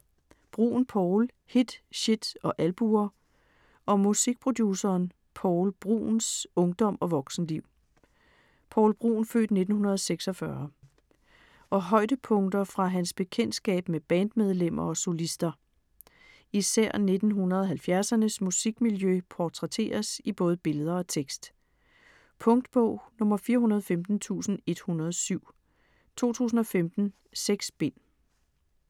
Bruun, Poul: Hit, shit og albuer Om musikproduceren Poul Bruuns (f. 1946) ungdom og voksenliv, og højdepunkter fra hans bekendtskab med bandmedlemmer og solister. Især 1970'ernes musikmiljø portrætteres i både billeder og tekst. Punktbog 415107 2015. 6 bind.